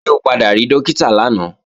Ṣé o padà rí Dókítà lánàá?